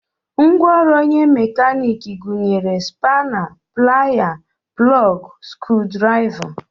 Ngwaọrụ onye mekaniiki gụnyere spana, Playa, plọg, scrudraịva